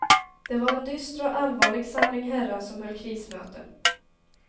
Det var en dyster och allvarlig samling herrar som höll krismöte.